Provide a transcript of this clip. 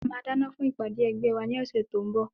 A máa dáná fún ìpàdé ẹgbẹ́ wa ní ọ̀sẹ̀ tí ó ń bọ̀.